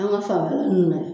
An ka fa ninnu na